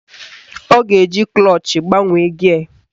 Ọ ga-eji klọch gbanwee gịe